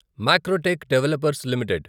Macrotech developers limited